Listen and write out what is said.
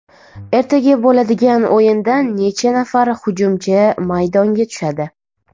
Ertaga bo‘ladigan o‘yinda necha nafar hujumchi maydonga tushadi?